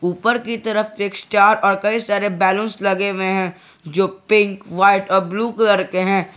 ऊपर की तरफ एक स्टार और कई सारे बैलून्स लगे हुए हैं जो पिंक वाइट और ब्लू कलर के हैं।